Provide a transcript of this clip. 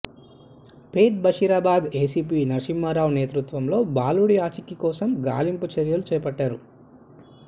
Pet Basheerabad ACP Narsimha Rao నేతృత్వంలో బాలుడి ఆచూకీ కోసం గాలింపు చర్యలు చేపట్టారు